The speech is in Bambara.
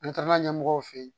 An taara ɲɛmɔgɔw fe ye